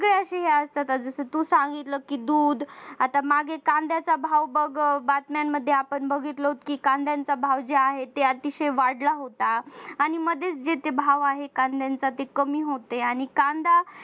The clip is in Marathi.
जसं तू सांगितलंस दूध आता मागे कांद्याचा भाव बघ बातम्यांमध्ये आपण बघितलं होतं की कांद्यांचा भाव जे आहे ते अतिशय वाढला होता आणि मध्ये जे ते भाव आहे कांद्यांचा कमी ते होते.